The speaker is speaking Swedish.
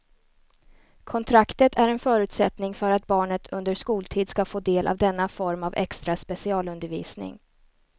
Kontraktet är en förutsättning för att barnet under skoltid ska få del av denna form av extra specialundervisning.